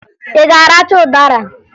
Ị ga-aracha ụdara?